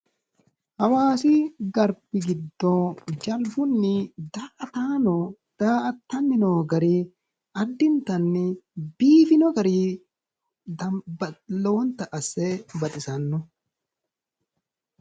Hawaasi garbi giddo jalbunni daa"ataano daa"atanni noo gari addintanni biifino gari lowonta asse baxisanno.